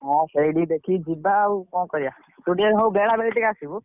ହଁ ସେଇଠିକି ଦେଖିକି ଯିବା ଆଉ କଣ କରିବା ତୁ ଟିକେ ସବୁ ବେଳ ବେଳି ଟିକେ ଆସିବୁ।